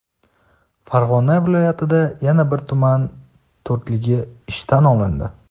Farg‘ona viloyatida yana bir tuman "to‘rtligi" ishdan olindi.